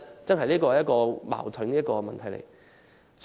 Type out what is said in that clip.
這確實是一個矛盾的問題。